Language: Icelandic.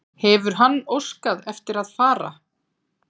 Hefur hann óskað eftir að fara?